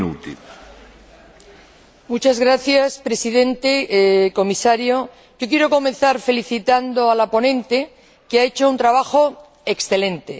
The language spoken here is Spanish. Señor Presidente, señor Comisario, quiero comenzar felicitando a la ponente, que ha hecho un trabajo excelente.